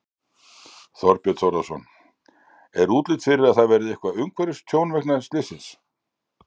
Þorbjörn Þórðarson: Er útlit fyrir að það verði eitthvað umhverfistjón vegna slyssins?